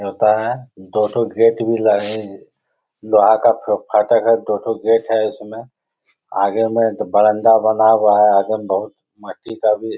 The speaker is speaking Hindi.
न्योता है दो ठो गेट भी लगी। लोहा का फो फाटक है दो ठो गेट है इसमें। आगे में बरामदा बना हुआ है। आगे में बहुत मट्टी का भी --